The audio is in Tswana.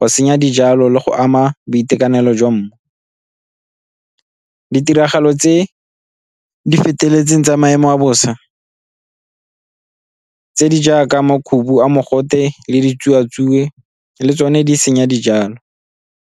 go senya dijalo le go ama boitekanelo jwa mmu. Ditiragalo tse di feteletseng tsa maemo a bosa tse di jaaka makhubu a mogote le di tsuatsue le tsone di senya dijalo.